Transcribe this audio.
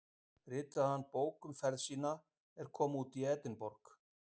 Ritaði hann bók um ferð sína er kom út í Edinborg